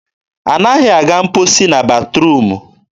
anaghị aga mkposi na batruum.